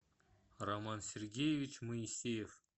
роман сергеевич моисеев